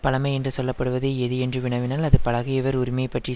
பழமை என்று சொல்ல படுவது எது என்று வினாவினால் அது பழகியவர் உரிமை பற்றி